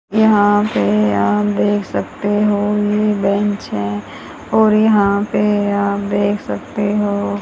यहां पे आप देख सकते हो ये बेंच है और यहां पे आप देख सकते हो--